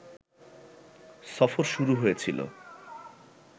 সফর শুরু হয়েছিল